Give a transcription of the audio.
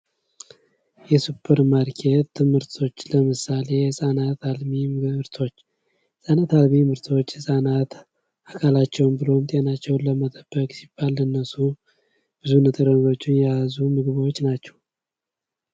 የሱፐር ማርኬት ምርቶች ለምሳሌ የሕፃናት አልሚ ምርቶች የሕፃናት አልሚ ምርቶች ሕፃናት አካላቸውን ብሎም ጤናቸውን ለመጠበቅ ሲባል ለነሱ ብዙ ንጥረ ነገር የያዙ ምግቦች ናቸው::